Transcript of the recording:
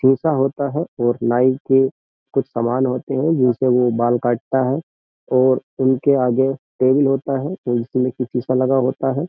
खीसा होता है और नाई के कुछ सामान होते हैं जिनसे वो बाल काटता है और उनके आगे टेबल होता है और उसमें की सीसा लगा होता है।